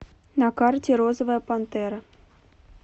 на карте розовая пантера